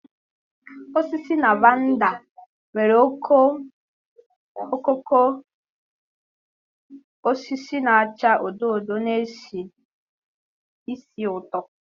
Osisi Lavender nwere okooko osisi na-acha odo odo na-esi ísì ụtọ.